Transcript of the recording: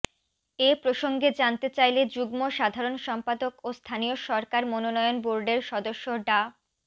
এ প্রসঙ্গে জানতে চাইলে যুগ্ম সাধারণ সম্পাদক ও স্থানীয় সরকার মনোনয়ন বোর্ডের সদস্য ডা